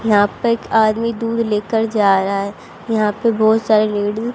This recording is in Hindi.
यहाँ पे एक आदमी दूध लेकर जा रहा हैं यहाँ पे बहोत सारे लेडी --